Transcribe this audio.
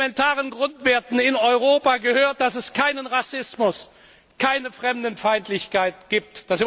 Und zu den elementaren Grundwerten in Europa gehört, dass es keinen Rassismus, keine Fremdenfeindlichkeit gibt.